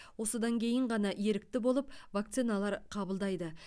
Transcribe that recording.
осыдан кейін ғана ерікті болып вакциналар қабылдайды